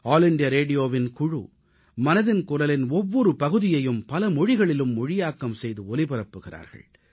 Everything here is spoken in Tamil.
ஆல் இண்டியா ரேடியோவின் குழு மனதின் குரலின் ஒவ்வொரு பகுதியையும் பல மொழிகளிலும் மொழியாக்கம் செய்து ஒலிபரப்புகிறார்கள்